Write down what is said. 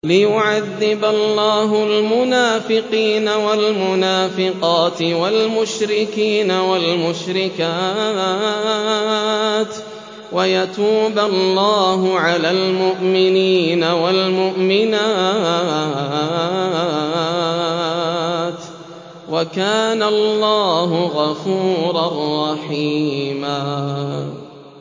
لِّيُعَذِّبَ اللَّهُ الْمُنَافِقِينَ وَالْمُنَافِقَاتِ وَالْمُشْرِكِينَ وَالْمُشْرِكَاتِ وَيَتُوبَ اللَّهُ عَلَى الْمُؤْمِنِينَ وَالْمُؤْمِنَاتِ ۗ وَكَانَ اللَّهُ غَفُورًا رَّحِيمًا